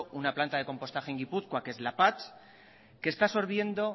una planta de compostaje en guipúzcoa que es lapatx que está absorbiendo